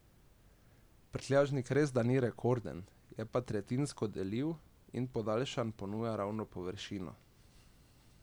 Prtljažnik resda ni rekorden, je pa tretjinsko deljiv in podaljšan ponuja ravno površino.